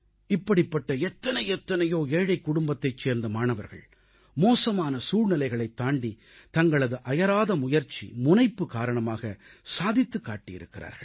இப்படிப்பட்ட எத்தனை எத்தனையோ ஏழைக் குடும்பத்தைச் சேர்ந்த மாணவர்கள் மோசமான சூழ்நிலைகளைத் தாண்டித் தங்களது அயராத முயற்சி முனைப்பு காரணமாக சாதித்துக் காட்டியிருக்கிறார்கள்